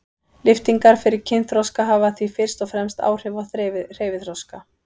Lyftingar fyrir kynþroska hafa því fyrst og fremst áhrif á hreyfiþroska.